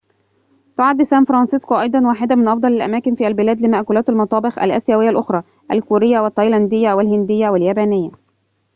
تعد سان فرانسيسكو أيضاً واحدة من أفضل الأماكن في البلاد لمأكولات المطابخ الآسيوية الأخرى الكورية والتايلاندية والهندية واليابانية